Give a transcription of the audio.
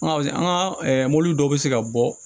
An ka an ka mɔbili dɔw be se ka bɔ